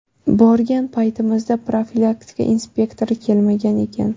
Borgan paytimizda profilaktika inspektori kelmagan ekan.